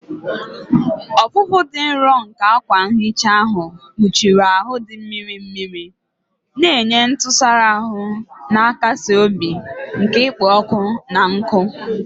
Ọfụfụ dị nro nke akwa nhicha ahụ kpuchiri ahụ dị mmiri mmiri, na-enye ntụsara ahụ na-akasi obi nke ikpo ọkụ na nkụ.